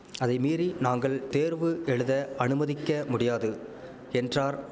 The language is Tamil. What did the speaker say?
அதைமீறி நாங்கள் தேர்வு எழுத அனுமதிக்க முடியாது என்றார்